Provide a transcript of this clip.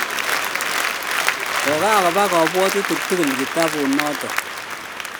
kokakoba kabwatutig tgul kitabut notok